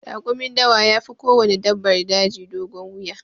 Rakumin dawa yafi kowanne dabbar daji dogon wuya.